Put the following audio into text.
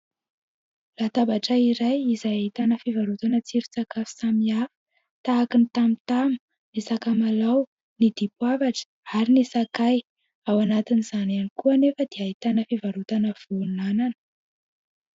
Latabatra iray izay ahitana fivarotana tsiron-tsakafo samihafa tahaka ny tamotamo, ny sakamalao, ny dipoavra ary ny sakay ao anatin'izany ihany koa anefa dia ahitana fivarotana voan'anana.